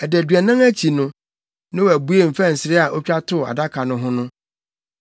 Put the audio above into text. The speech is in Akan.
Adaduanan akyi no, Noa buee mfɛnsere a otwa too Adaka no ho no,